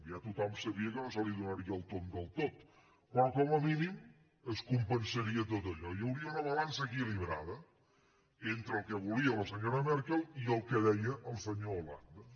ja tothom sabia que no es donaria el tomb del tot però com a mínim es compensaria tot allò hi hauria una balança equilibrada entre el que volia la senyora merkel i el que deia el senyor hollande